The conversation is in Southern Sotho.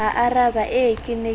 aaraba ee ke ne ke